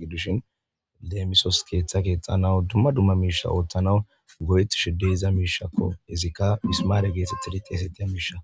gidishin lemisos ketha kexanawu duma duma misha othanaw go'etishe de'iza mishako izika mismare getetiri dhesetiza misha.